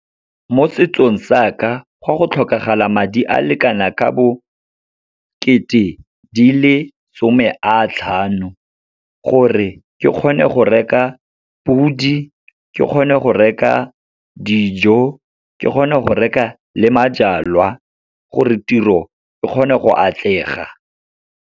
Mo setsong sa ka, gwa go tlhokagala madi a lekana ka bo kete di le some a tlhano, gore ke kgone gore reka ka podi, ke kgone go reka dijo, ke kgone go reka le majalwa gore tiro e kgone go atlega.